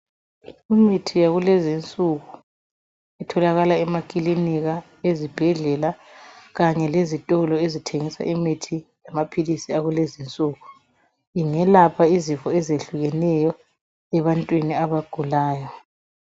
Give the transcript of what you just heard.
Imithi yakulezi insuku itholakala emakilinika, ezibhedlela kanye lezitolo, ezithengisa imithi lamaphilisi. Akulezi insuku. Ingelapga izifo ezehlukeneyo, kubantu abagulayo.